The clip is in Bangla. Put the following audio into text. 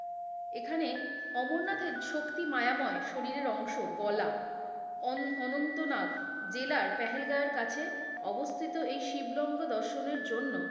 এখানে অমরনাথের শক্তি মায়াময় শরীরের অংশ গলা অনঅনন্ত নাক, দিলা পেহেল গাঁ এর কাছে অবস্থিত এই শিব লঙ্গ দর্শনের জন্য,